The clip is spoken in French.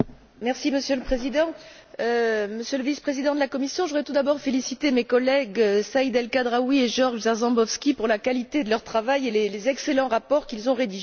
Monsieur le Président, Monsieur le vice président de la Commission, je voudrais tout d'abord féliciter mes collègues, Saïd El Khadraoui et Georg Jarzembowski, pour la qualité de leur travail et les excellents rapports qu'ils ont rédigés.